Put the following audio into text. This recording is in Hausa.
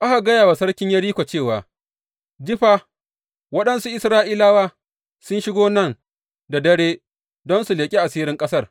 Aka gaya wa sarkin Yeriko cewa, Ji fa, waɗansu Isra’ilawa sun shigo nan da dare don su leƙi asirin ƙasar.